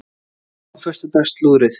Kíkjum á föstudags slúðrið!